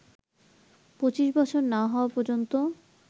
২৫ বছর না হওয়া পর্যন্ত